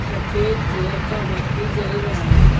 सफेद कलर का बत्ती जल रहा है।